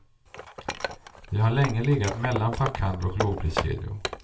Vi har länge legat mellan fackhandel och lågpriskedjor.